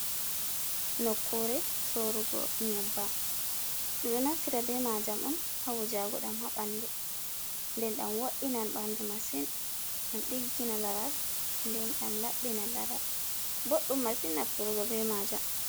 Nokkure sorugo nyebbam. Ɗum ɗo naftira be majam on hawujagu ɗam haɓandu, nden ɗam wo’inan ɓandu masin, ɗam ɗigginan laral nden ɗam laɓɓinan lara boɗɗum masin nafturugo be majam.